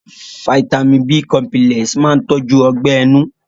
Fáítámì b cọmpílẹ̀s máa tọ́jú Ọgbẹ́ ẹnu